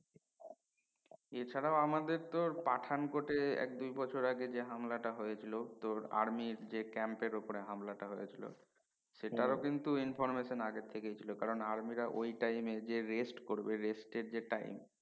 এছাড়া আমাদের তো পাঠান কোঠে এক দুই বছর আগে যে হামলা টা হয়েছিলো তোর আর্মির যে camp উপর হামলাটা হয়েছিলো সেটারও কিন্তু information আগে থেকে ছিলো কারন আর্মিরা ঐ time এ যে রেস্ট করবে rest যে time